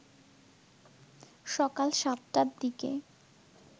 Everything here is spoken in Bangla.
সকাল ৭টার দিকে